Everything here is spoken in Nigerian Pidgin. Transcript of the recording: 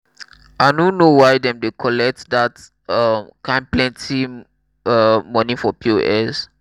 i no know why dem dey collect dat um kin plenty um money for pos.